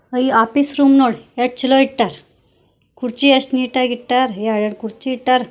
ಅಯ್ ಈ office room ನೋಡಿ ಏಷ್ಟ್ ಛಲೋ ಇಟ್ಟಾರ್ ಕುರ್ಚಿ ಎಷ್ಟ್ ನೀಟಾಗ್ ಇಟ್ಟಾರ್ ಎರಡ್ ಎರಡ್ ಕುರ್ಚಿ ಇಟ್ಟಾರ್.